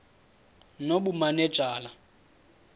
nobumanejala